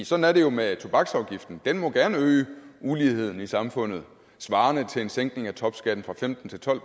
sådan er det jo med tobaksafgiften den må gerne øge uligheden i samfundet svarende til en sænkning af topskatten fra femten til tolv